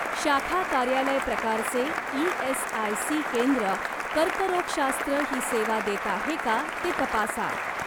शाखा कार्यालय प्रकारचे ई.एस.आय.सी. केंद्र कर्करोगशास्त्र ही सेवा देत आहे का ते तपासा.